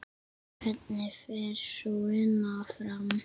Hvernig fer sú vinna fram?